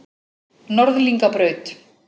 Norðlingabraut